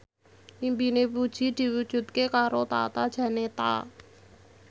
impine Puji diwujudke karo Tata Janeta